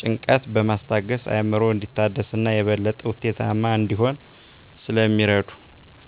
ጭንቀትን በማስታገስ አዕምሮ እንዲታደስ እና የበለጠ ውጤታማ እንዲሆን ስለሚረዱ።